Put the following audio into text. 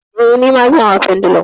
Eh, nima zan hau pendulum.